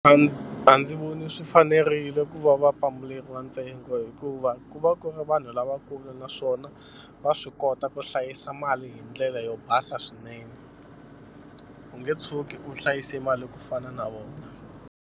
A ndzi a ndzi voni swi fanerile ku va va pambuleriwa ntsengo hikuva ku va ku ri vanhu lavakulu naswona va swi kota ku hlayisa mali hi ndlela yo basa swinene u nge tshuki u hlayise mali ku fana na vona.